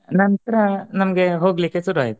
ನಂತರ ನಮಗೆ ಹೋಗಲಿಕ್ಕೆ ಶುರು ಆಯ್ತು